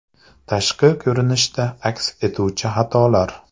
Tashqi ko‘rinishda aks etuvchi xatolar .